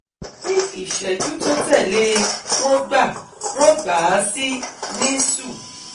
Ní ìṣẹ́jú tó tẹ̀lé e wọ́n gbà wọ́n gbà á sí NICU